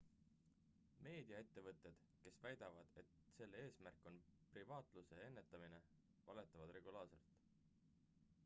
meediaettevõtted kes väidavad et selle eesmärk on piraatluse ennetamine valetavad regulaarselt